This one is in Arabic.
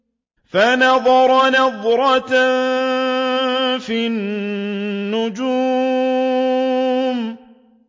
فَنَظَرَ نَظْرَةً فِي النُّجُومِ